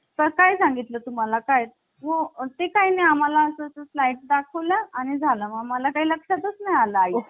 तर Doctor बाबासाहेब आंबेडकर यांनी या भारतीय राज्यघटनेचा स्रोताविषयी काय म्हणलेले आहे तर जगात माहित असलेल्या सर्व ज्या राज्यघटना होत्या सर्व देशांच्या ज्या राज्यघटना होत्या